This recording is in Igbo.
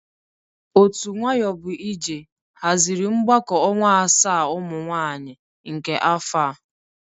Otu nwayọbụije hazịrị mgbakọ ọnwa asaa ụmụ nwaanyị nke afọ a.